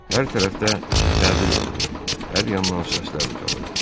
Hər tərəfdə təbil vurulur, hər yandan səslər ucalırdı.